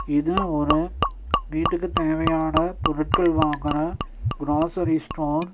இது ஒரு வீட்டுக்கு தேவையான பொருட்கள் வாங்குற க்ரோசரி ஸ்டோர் .